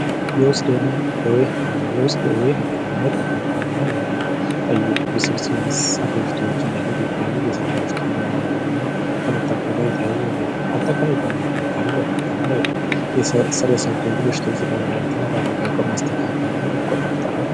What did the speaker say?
የውስጥ ደዌ ህክምና የውስጥ ደዌ ህክምና የውስጥ ውስብስብ ህክምናዎችን የሚጠይቁ የእንስሳት በሽታዎች እንደ ልብና ሳንባ በሽታዎችን የመመርመርና፤ ከመታከም ጋር የተያዘ ነው። አጠቃላይ የጤና እንክብካቤና በሽታዎችን በአመጋገብ ማስተካከልን ይቆጣጠራል።